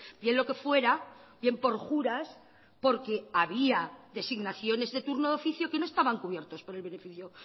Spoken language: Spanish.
bien lo que fuera bien por juras porque había designaciones de turno de oficio que no estaban cubiertos por el beneficio